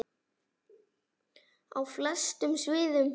Þvílík bylting á flestum sviðum.